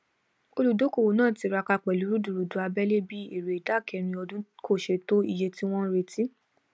olùdókòwò náà tiraka pẹlú rudurudu abẹlé bí èrè ìdá kẹrin ọdún kò ṣe to iye tí wón ń retí